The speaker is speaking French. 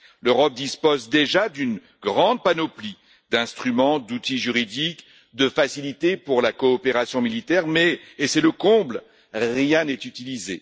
L'Europe dispose déjà d'une grande panoplie d'instruments, d'outils juridiques, de facilités pour la coopération militaire, mais et c'est le comble rien n'est utilisé.